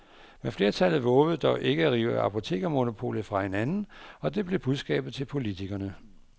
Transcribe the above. Men flertallet vovede dog ikke at rive apotekermonopolet fra hinanden, og det blev budskabet til politikerne.